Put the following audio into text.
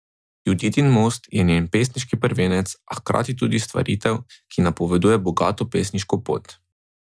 Juditin most je njen pesniški prvenec, a hkrati tudi stvaritev, ki napoveduje bogato pesniško pot.